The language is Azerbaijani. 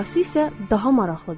Sonrası isə daha maraqlıdır.